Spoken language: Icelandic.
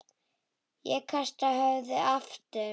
Ég kasta höfðinu aftur.